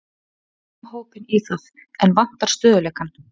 Við höfum hópinn í það, en vantar stöðugleikann.